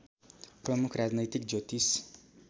प्रमुख राजनैतिक ज्योतिष